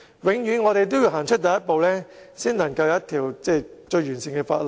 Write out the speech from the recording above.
我們一定要踏出第一步，才能得到一項完善的法例。